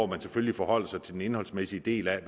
man selvfølgelig forholder sig til den indholdsmæssige del af